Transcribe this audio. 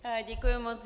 Děkuji moc.